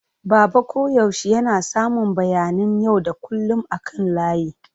Baba koyaushe yana samun bayanan yau da kullun akan layi.